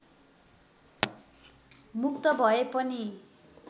मुक्त भए पनि